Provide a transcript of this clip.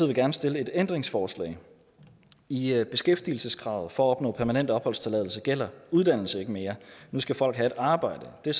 gerne stille et ændringsforslag i i beskæftigelseskravet for at opnå permanent opholdstilladelse gælder uddannelse ikke mere nu skal folk have et arbejde det er